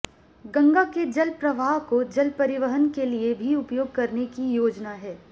गंगा के जल प्रवाह को जल परिवहन के लिए भी उपयोग करने की योजना है